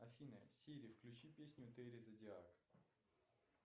афина сири включи песню тери зодиак